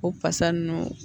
O fasa ninnu